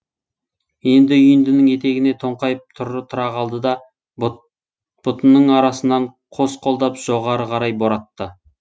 енді үйіндінің етегіне тоңқайып тұра қалды да ұтының арасынан қос қолдап жоғары қарай боратты